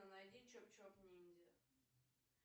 найди чоп чоп ниндзя